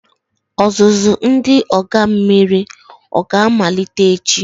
Ọzụzụ ndị agha mmiri oga-amalite echi?